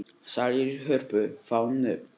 Salir í Hörpu fá nöfn